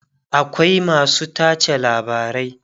akwai masu tace labarai